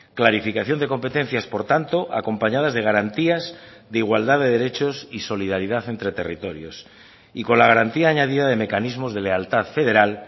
clarificación de competencias por tanto acompañadas de garantías de igualdad de derechos y solidaridad entre territorios y con la garantía añadida de mecanismos de lealtad federal